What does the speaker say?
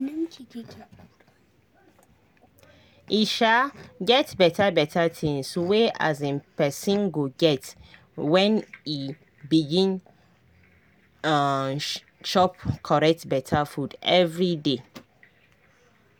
e um get beta beta tinz wey um pesin go get when e begin um chop correct beta food everyday